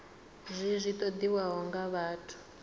zwi zwi ṱoḓiwaho nga vhathu